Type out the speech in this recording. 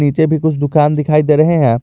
पीछे भी कुछ दुकान दिखाई दे रहे हैं।